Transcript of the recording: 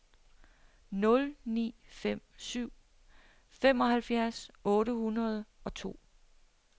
nul ni fem syv femoghalvfjerds otte hundrede og to